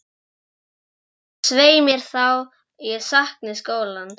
Ég held, svei mér þá, að ég sakni skólans.